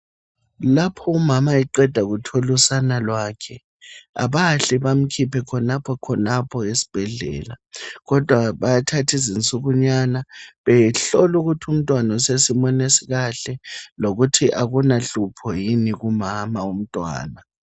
Lapho umama eqeda kuthola usana lwakhe abahle bamkhiphe khonapho khonapho esibhedlela, kodwa bayathatha izinsukunyana behlola ukuthi umntwana usesimeni esikahle lokuthi akulahlupho yini kumama womntwana.